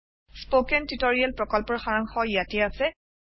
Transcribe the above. spoken tutorial প্ৰকল্পৰ সাৰাংশ ইয়াতে আছে